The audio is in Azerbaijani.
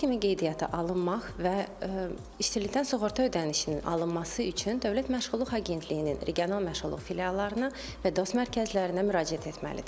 İşsiz kimi qeydiyyata alınmaq və işsizlikdən sığorta ödənişinin alınması üçün Dövlət Məşğulluq Agentliyinin regional məşğulluq filiallarına və dost mərkəzlərinə müraciət etməlidir.